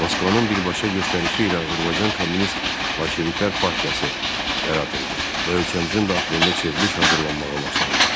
Moskvanın birbaşa göstərişi ilə Azərbaycan Kommunist Bolşeviklər Partiyası yaradıldı və ölkəmizin daxilində çevriliş hazırlanmağa başlandı.